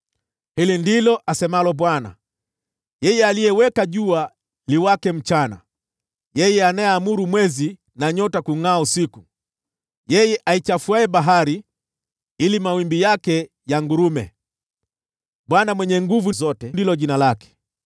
Hili ndilo asemalo Bwana , yeye aliyeweka jua liwake mchana, yeye anayeamuru mwezi na nyota kungʼaa usiku, yeye aichafuaye bahari ili mawimbi yake yangurume; Bwana Mwenye Nguvu Zote ndilo jina lake: